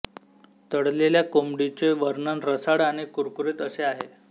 तळलेल्या कोंबडीचे वर्णन रसाळ आणि कुरकुरीत असे आहे